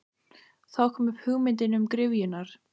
Þá kom upp hugmyndin um gryfjurnar.